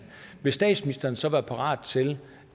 vil statsministeren så være parat til